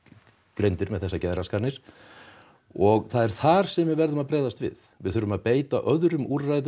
greindir með þessar geðraskanir og það er þar sem við verðum að bregðast við við þurfum að beita öðrum úrræðum